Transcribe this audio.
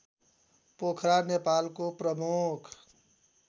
पोखरा नेपालको प्रमुख